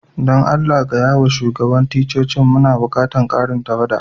Dan Allah gaya ma shugaban ticcocin muna bukatan karin tawada.